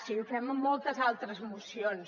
sí ho fem en moltes altres mocions